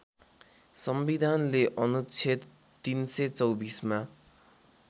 संविधानले अनुच्छेद ३२४ मा